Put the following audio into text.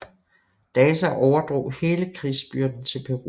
Daza overdrog hele krigsbyrden til Peru